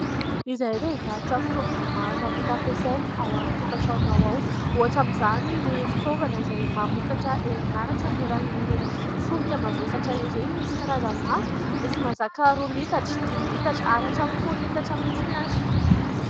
Izahay dia mivarotra fitaovana maro afaka ampiasaina ao an-tokantranonao ao. Ohatra amin'izany ny fitaovana izay mamokatra herinaratra amin'ny alàlan'ireny solika mavesatra ireny. Misy karazany maro : misy mazaka roa litatra, dimy litatra ary hatramin'ny folo litatra mihitsiny ary.